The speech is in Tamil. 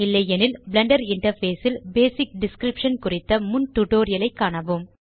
இல்லையெனில் பிளெண்டர் இன்டர்ஃபேஸ் ல் பேசிக் டிஸ்கிரிப்ஷன் குறித்த முன் டியூட்டோரியல் ஐ காணவும்